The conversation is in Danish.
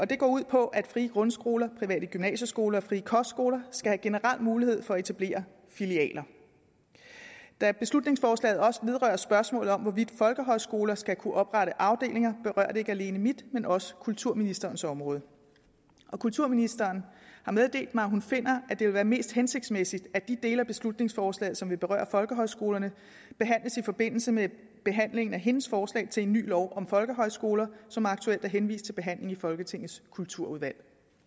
det går ud på at frie grundskoler private gymnasieskoler og frie kostskoler skal have generel mulighed for at etablere filialer da beslutningsforslaget også vedrører spørgsmålet om hvorvidt folkehøjskoler skal kunne oprette afdelinger berører det ikke alene mit men også kulturministerens område kulturministeren har meddelt mig at hun finder at det vil være mest hensigtsmæssigt at de dele af beslutningsforslaget som vil berøre folkehøjskolerne behandles i forbindelse med behandlingen af hendes forslag til en ny lov om folkehøjskoler som aktuelt er henvist til behandling i folketingets kulturudvalg